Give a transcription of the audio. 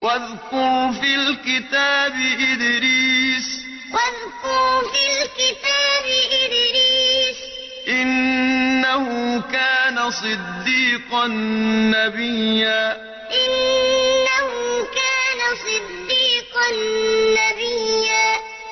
وَاذْكُرْ فِي الْكِتَابِ إِدْرِيسَ ۚ إِنَّهُ كَانَ صِدِّيقًا نَّبِيًّا وَاذْكُرْ فِي الْكِتَابِ إِدْرِيسَ ۚ إِنَّهُ كَانَ صِدِّيقًا نَّبِيًّا